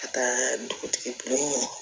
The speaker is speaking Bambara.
Ka taa dugutigi ɲini